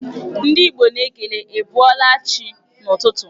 Ndị Igbo na-ekele 'ị bọọla chi' n'ụtụtụ.